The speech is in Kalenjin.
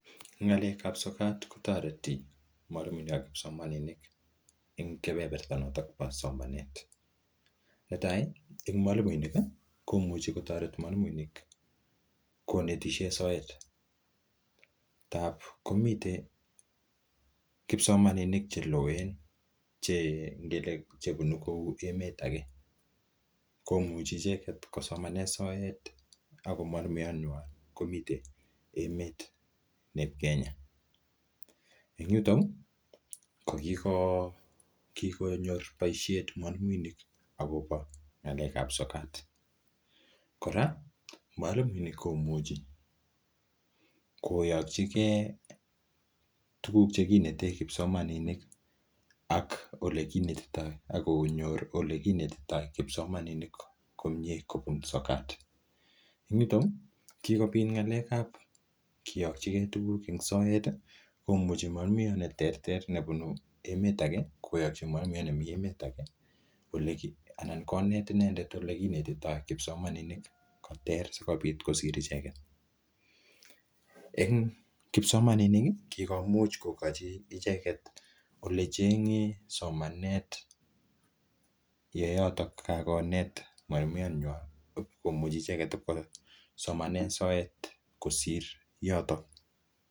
Ng'alekab kotoreti mwalimuiinik ak kipsomaninik en kebeberta noton bo somanet. Netai: mwalimuinik komuch e kotoreti mwalimuiik konetishen soet, ndap komiten kipsomaninik cheloen ngele kou chebunu emet age komuchi icheget kosomanen soet ago mwalimuyat nywan komite emet nieb Kenya. En yuto kogikonyor boisiet mwaimu agobo ng'alekab sokat. Kora mwalimuinink komuchi koyokyige tuguk che kinete kipsomaninik ak ole kinetito ak konyor ole kinetito kipsomaninik komye kobun sokat. En yuto kigobit ng'alekab kiyokige tuguk en soet komuchi mwalimuyat ne terter nebune emet age koyoki mwalimuyat nemi emet age anan konet inendet ole kinetito kipsomaninik sikobit kosiryo icheget. En kipsomaninik kigomuch kogochi icheget ole cheng'e somanet ye yoto kagonet mwalimuyanywan, komuchi icheget kosomanen soet kosir yotok.